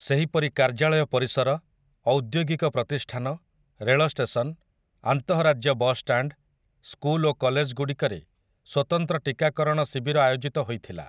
ସେହିପରି କାର୍ଯ୍ୟାଳୟ ପରିସର, ଔଦ୍ୟୋଗିକ ପ୍ରତିଷ୍ଠାନ, ରେଳ ଷ୍ଟେସନ, ଆନ୍ତଃରାଜ୍ୟ ବସଷ୍ଟାଣ୍ଡ, ସ୍କୁଲ ଓ କଲେଜଗୁଡ଼ିକରେ ସ୍ୱତନ୍ତ୍ର ଟିକାକରଣ ଶିବିର ଆୟୋଜିତ ହୋଇଥିଲା ।